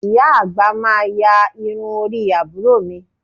Ìyá àgbà máa ya irun orí àbúrò mi